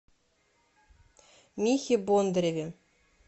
михе бондареве